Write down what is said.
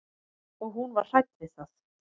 Og hún var hrædd við það.